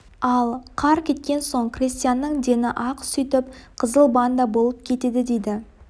ал қар кеткен соң крестьянның дені-ақ сүйтіп қызыл банда болып кетеді дейді